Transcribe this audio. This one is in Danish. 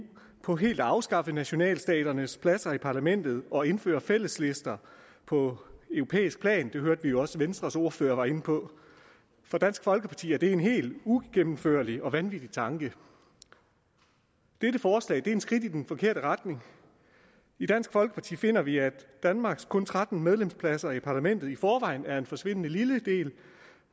på helt at afskaffe nationalstaternes pladser i parlamentet og indføre fælleslister på europæisk plan det hørte vi jo også venstres ordfører var inde på for dansk folkeparti er det en helt ugennemførlig og vanvittig tanke dette forslag er et skridt i den forkerte retning i dansk folkeparti finder vi at danmarks kun tretten medlemspladser i parlamentet i forvejen er en forsvindende lille del